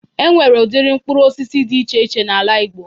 E nwere udiri mkpụrụ osisi dị iche iche n'ala igbo.